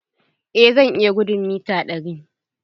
Eh zan iya gudun mita ɗari.